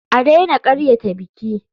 A daina karyata biki.